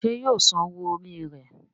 ṣe yíò sàn owó Orí rẹ.